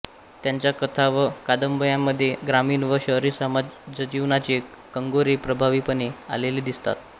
त्यांच्या कथा व कादंबयांमध्ये ग्रामीण व शहरी समाजजीवनाचे कंगोरे प्रभावीपणे आलेले दिसतात